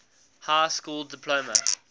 high school diploma